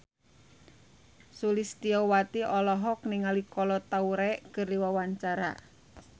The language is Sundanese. Sulistyowati olohok ningali Kolo Taure keur diwawancara